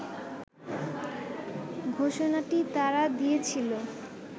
ঘোষণাটি তারা দিয়েছিল